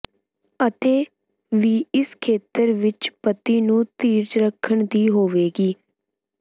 ਅਤੇ ਵੀ ਇਸ ਖੇਤਰ ਵਿੱਚ ਪਤੀ ਨੂੰ ਧੀਰਜ ਰੱਖਣ ਦੀ ਹੋਵੇਗੀ